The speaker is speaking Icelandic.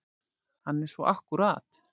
Hann er svo akkúrat.